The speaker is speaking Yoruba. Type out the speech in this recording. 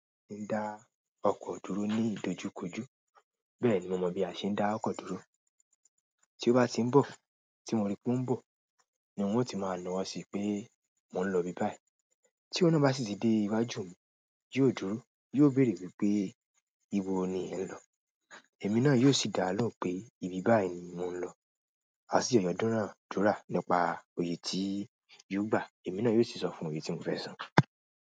A lè dá ọkọ̀ dúró ní ìdojúkojú. Bẹ́ẹ̀ ni mo mọ̀ bí a ṣe ń dá ọkọ̀ dúró. Tí ó bá ti ń bọ̀, tí mo rí pé ó ń bọ̀, ni n ó ti máa na ọwọ́ sí pé mò ń lọ ibi báyìí. Tí òun náà bá sì ti dé iwájú mi, yóò dúró, yóò béèrè wípé "íbo ni ẹ̀ ń lọ?" Èmi náà yóò sì dá á lóhùn pé ibi báyìí ni mò ń lọ. A sì jọ dúnadúrà nípa òye tí yóò gbà, èmi náà yóò sì sọ fún òye tí mo fẹ́ san.